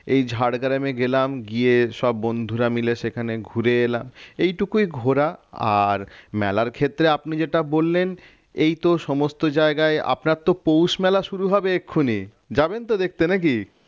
এই ঝাড়গ্রামে গেলাম গিয়ে সব বন্ধুরা মিলে সেখানে ঘুরে এলাম এটুকুই ঘোরা আর মেলার ক্ষেত্রে আপনি যেটা বললেন এইতো সমস্ত জায়গায় আপনার তো পৌষ মেলা শুরু হবে এক্ষুনি যাবেন তো দেখতে নাকি?